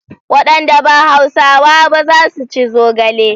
Wadanda ba Hausawa ba za su ci zogale.